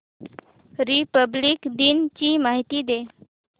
Republic दिन ची माहिती दे